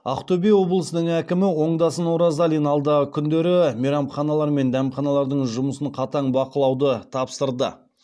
ақтөбе облысының әкімі оңдасын оразалин алдағы күндері мейрамханалар мен дәмханалардың жұмысын қатаң бақылауды тапсырды